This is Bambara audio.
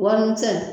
Warimisɛn